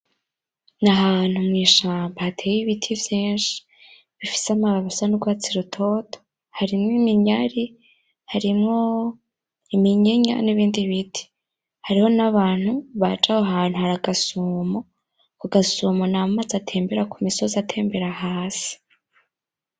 Nahantu mwishamba hateye ibiti vyinshi bifise amababi asa nurwatsi rutoto harimwo iminyari, harimwo iminyinya nibindi biti hariho nabantu baja aho hantu haragasomo, ako gasomo namazi atembera kumusozi atembera hasi.